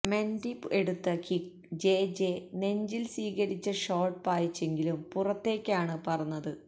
Mendy എടുത്ത kick Jeje നെഞ്ചില് സ്വീകരിച്ച് ഷോട്ട് പായിച്ചെങ്കിലും പുറത്തേക്കാണ് പറന്നത്